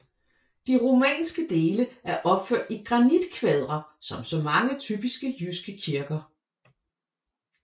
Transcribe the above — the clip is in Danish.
De romanske dele er opført i granitkvadre som så mange typiske jyske kirker